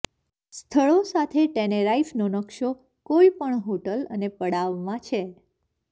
સ્થળો સાથે ટેનેરાઈફનો નકશો કોઈપણ હોટલ અને પડાવમાં છે